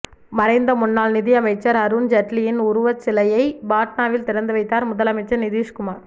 மறைந்த முன்னாள் நிதியமைச்சர் அருண்ஜெட்லியின் உருவச்சிலையை பாட்னாவில் திறந்து வைத்தார் முதலமைச்சர் நிதிஷ்குமார்